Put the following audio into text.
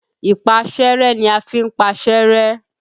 Ìpaṣẹ́rẹ́ ni a fi ń paṣẹ́ rẹ́.